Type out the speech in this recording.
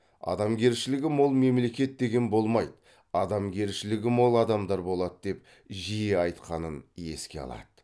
адамгершілігі мол мемлекет деген болмайды адамгершілігі мол адамдар болады деп жиі айтқанын еске алады